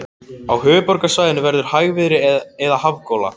Á höfuðborgarsvæðinu verður hægviðri eða hafgola